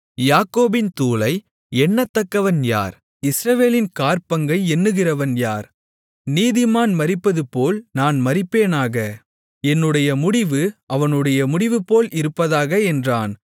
யாக்கோபின் தூளை எண்ணத்தக்கவன் யார் இஸ்ரவேலின் காற்பங்கை எண்ணுகிறவன் யார் நீதிமான் மரிப்பதுபோல் நான் மரிப்பேனாக என்னுடைய முடிவு அவனுடைய முடிவுபோல் இருப்பதாக என்றான்